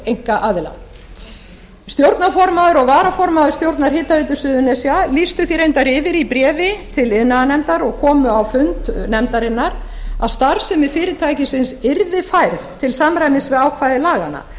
einkaaðila stjórnarformaður og varaformaður stjórnar hitaveitu suðurnesja lýstu því reyndar yfir í bréfi til iðnaðarnefndar og komu á fund nefndarinnar að starfsemi fyrirtækisins yrði færð til samræmis við ákvæði laganna